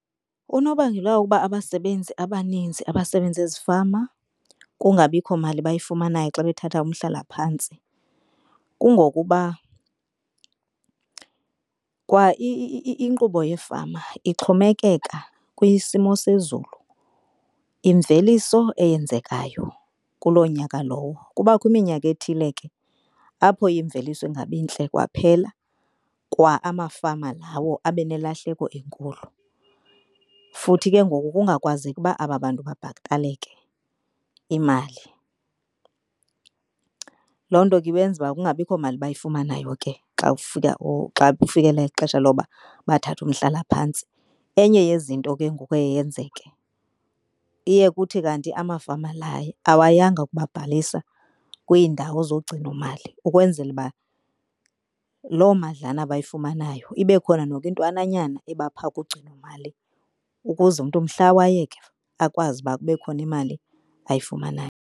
Unobangela wokuba abasebenzi abaninzi abasebenza ezifama kungabikho mali bayifumanayo xa bethatha umhlalaphantsi, kungokuba kwa inkqubo yefama ixhomekeka kwisimo sezulu, imveliso eyenzekayo kuloo nyaka lowo. Kubakho iminyaka ethile ke apho imveliso ingabi ntle kwaphela, kwa amafama lawo abe nelahleko enkulu. Futhi ke ngoku kungakwazeki uba aba bantu babhataleke imali. Loo nto ke ibenza uba kungabikho mali bayifumanayo ke xa kufika or xa kufikela ixesha loba bathathe umhlalaphantsi. Enye yezinto ke ngoku eye yenzeke, iye kuthi kanti amafama la awayanga kubabhalisa kwiindawo zogcinomali. Ukwenzela uba loo madlalana bayifumanayo ibe khona noko intwananyana eba phaa kugcino imali ukuze umntu mhla wayeka akwazi uba kube khona imali ayifumanayo.